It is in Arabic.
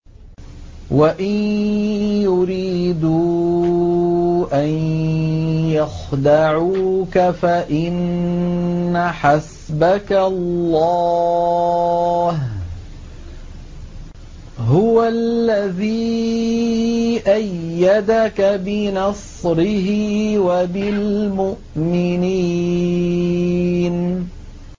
وَإِن يُرِيدُوا أَن يَخْدَعُوكَ فَإِنَّ حَسْبَكَ اللَّهُ ۚ هُوَ الَّذِي أَيَّدَكَ بِنَصْرِهِ وَبِالْمُؤْمِنِينَ